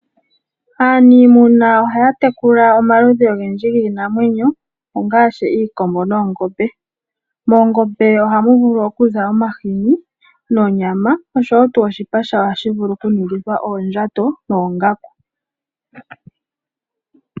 Aanimuna ohaya tekula omaludhi ogendji giinamwenyo ongashi iikombo noongombe. Moongombe ohamu vulu okuza omahini nonyama oshowo tu oshipa shadho ohashi vulu oku ningithwa oondjato noongaku.